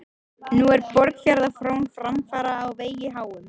Nú er Borgarfjarðar frón framfara á vegi háum.